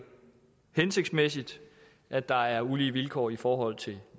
hensigtsmæssigt at der er ulige vilkår i forhold til